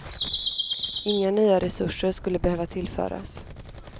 Inga nya resurser skulle behöva tillföras.